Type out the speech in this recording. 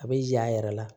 A bɛ y'a yɛrɛ la